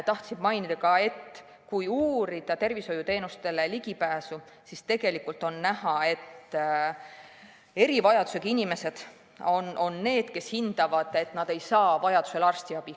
Tahtsin mainida, et kui uurida tervishoiuteenustele ligipääsu, siis on näha, et erivajadusega inimesed hindavad, et nad ei saa vajaduse korral arstiabi.